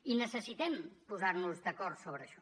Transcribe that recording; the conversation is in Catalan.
i necessitem posar nos d’acord sobre això